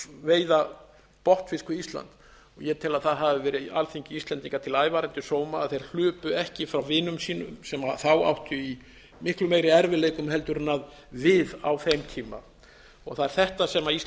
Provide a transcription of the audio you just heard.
veiða botnfisk við ísland ég tel að það hafi verið alþingi íslendinga til ævarandi sóma að þeir hlupu ekki frá vinum sínum sem þá áttu í miklu meiri erfiðleikum heldur en við á þeim tíma það er þetta sem